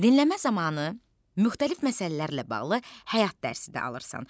Dinləmə zamanı müxtəlif məsələlərlə bağlı həyat dərsi də alırsan.